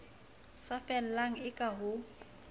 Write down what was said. sa fellang e ka ho